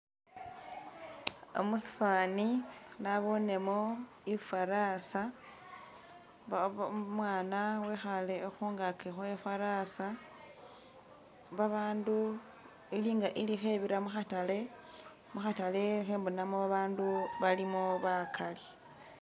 Musifani nabonemo i'farasa ba ba Umwana wekhaale khungaki khwe'farasa, babandu ili nga ikhebira mu'khatale, mu'khatale khembonamo babandu balimo bakali